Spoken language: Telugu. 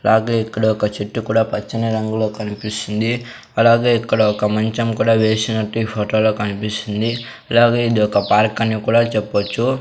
అలాగే ఇక్కడ ఒక చెట్టు కూడా పచ్చని రంగులో కనిపిస్సుంది అలాగే ఇక్కడ ఒక మంచం కూడా వేసినట్టు ఈ ఫోటో లో కనిపిస్సుంది అలాగే ఇది ఒక పార్కు అని కూడా చెప్పొచ్చు --